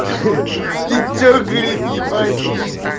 ты что горит ебать есть